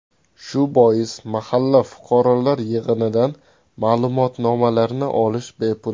Shu bois mahalla fuqarolar yig‘inidan ma’lumotnomalarni olish bepul.